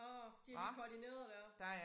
Åh de har lige koordineret dér